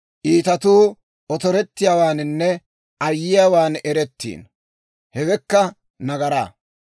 Iitatuu otorettiyaawaaninne ayyiyaawan erettiino; hewekka nagaraa.